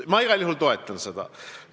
Ma igal juhul toetan seda.